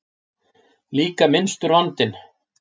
Líka minnstur vandinn.